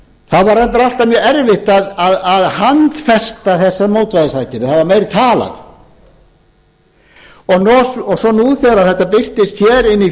það var reyndar alltaf mjög erfitt að handfesta þessar mótvægisaðgerðir það var meira talað svo nú þegar þetta birtist hér inni í